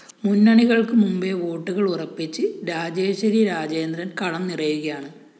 മുന്നണികള്‍ക്ക് മുമ്പേ വോട്ടുകള്‍ ഉറപ്പിച്ച് രാജേശ്വരിരാജേന്ദ്രന്‍ കളം നിറയുകയാണ്